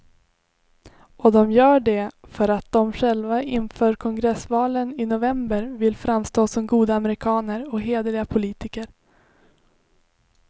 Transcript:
Och de gör det för att de själva inför kongressvalen i november vill framstå som goda amerikaner och hederliga politiker.